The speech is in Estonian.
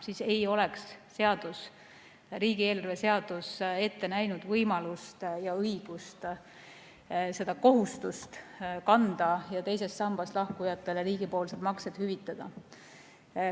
Siis ei oleks riigieelarve seadus ette näinud võimalust ja õigust seda kohustust kanda ja teisest sambast lahkujatele riigipoolsed maksed hüvitada.